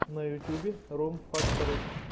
на ютьюбе рум фактори